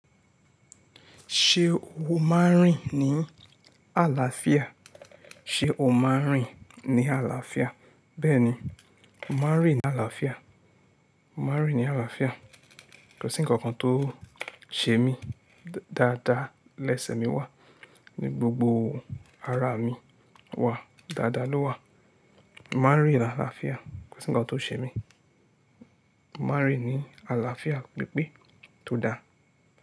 Ṣé o máa ń rìn ní àlàáfíà? Ṣé o máa ń rìn ní àlàáfíà? Bẹ́ẹ̀ni, mo máa ń rìn ní àlàáfíà. Mo máa ń rìn ní àlàáfíà. Kò sí ǹkan kan tó ṣe mí dáadáa lẹ́sẹ̀ mi wá ní gbogbo ara mi wá dáadáa ló wà. Mo máa ń rìn ní àlàáfíà. Kò sí ǹkan tó ṣe mí. Mo máa ń rìn ní àlàáfíà pípé tó dáa.